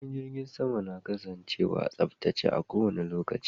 Filin jirgin sama na kasancewa a tsaftace a kowanne lokaci